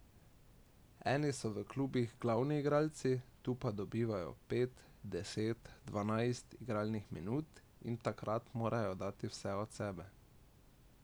Eni so v klubih glavni igralci, tu pa dobivajo pet, deset, dvanajst igralnih minut, in takrat morajo dati vse od sebe.